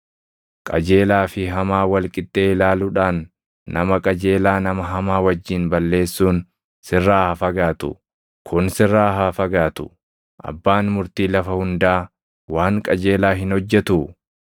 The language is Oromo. Qajeelaa fi hamaa wal qixxee ilaaluudhaan nama qajeelaa nama hamaa wajjin balleessuun sirraa haa fagaatu. Kun sirraa haa fagaatu! Abbaan murtii lafa hundaa waan qajeelaa hin hojjetuu?”